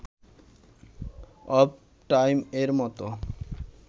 of টাইম-এর মতো